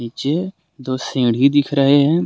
नीचे दो सीढ़ी दिख रहे है।